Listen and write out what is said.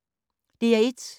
DR1